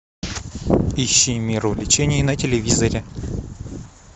ищи мир увлечений на телевизоре